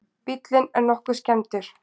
Bíllinn er nokkuð skemmdur